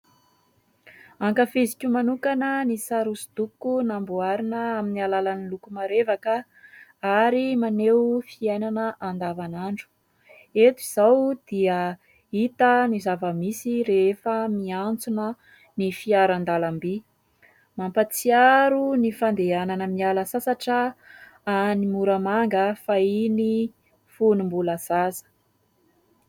Ankafiziko manokana ny sary hosodoko namboarina amin'ny alalan'ny loko marevaka ary maneho fiainana andavan'andro, eto izao dia hita ny zava-misy rehefa miantsona ny fiarandalam-by mampatsiaro ny fandehanana miala sasatra any Moramanga fahiny fony mbola zaza.